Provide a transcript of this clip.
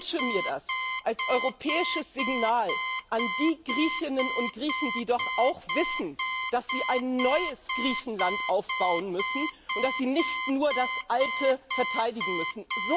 Ich wünsche mir das als europäisches Signal an die Griechinnen und Griechen, die doch auch wissen, dass sie ein neues Griechenland aufbauen müssen, und dass sie nicht nur das alte verteidigen müssen.